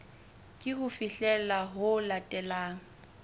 ke ho fihlela ho latelang